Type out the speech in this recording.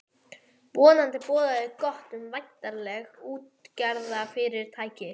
Vonandi boðaði það gott um væntanlegt útgerðarfyrirtæki.